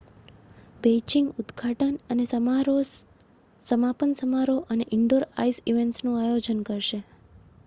Beijing ઉદ્ઘાટન અને સમાપન સમારોહ અને ઇન્ડોર આઈસ ઇવેંટ્સનું આયોજન કરશે